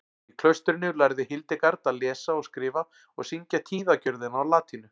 Í klaustrinu lærði Hildegard að lesa og skrifa og syngja tíðagjörðina á latínu.